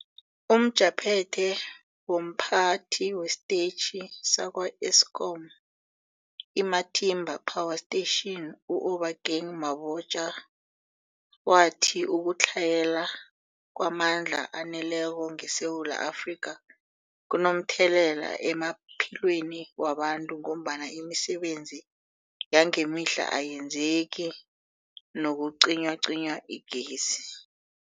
UmJaphethe womPhathi wesiTetjhi sakwa-Eskom i-Matimba Power Station u-Obakeng Mabotja wathi ukutlhayela kwamandla aneleko ngeSewula Afrika kunomthelela emaphilweni wabantu ngombana imisebenzi yangemihla ayenzeki nakucinywacinywa igezi.